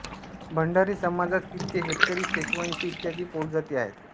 भंडारी समाजात कित्ते हेटकरी शेषवंशी इत्यादी पोटजाती आहेत